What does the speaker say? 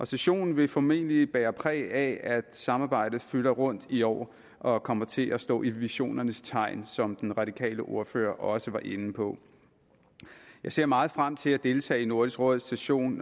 sessionen vil formentlig bære præg af at samarbejdet fylder rundt i år og kommer til at stå i visionernes tegn som den radikale ordfører også var inde på jeg ser meget frem til at deltage i nordisk råds session